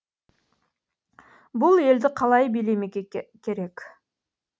бұл елді қалай билемек керек